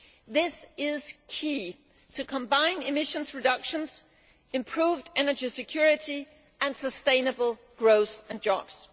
This is key to combining emission reductions, improved energy security and sustainable growth and jobs.